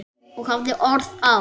Og hafði orð á.